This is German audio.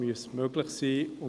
Dies muss möglich sein.